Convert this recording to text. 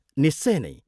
निश्चय नै।